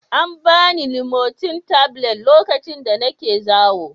An ba ni limotil tablet lokacin da nake zawo